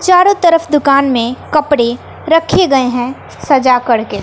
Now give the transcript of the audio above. चारों तरफ दुकान में कपड़े रखे गए हैं सजा करके--